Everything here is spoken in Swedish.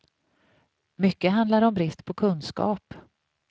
Mycket handlar om brist på kunskap.